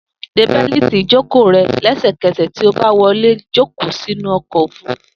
De bẹ́lìtì ìjókòó rẹ lẹ́sẹ̀kẹsẹ̀ tí o bá wọlé jókòó sínú ọkọ̀ òfúrufú.